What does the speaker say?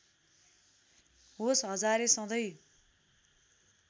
होस् हजारे सधैँ